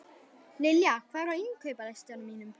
Lilja, hvað er á innkaupalistanum mínum?